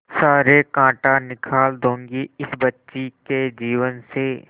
सारे कांटा निकाल दूंगी इस बच्ची के जीवन से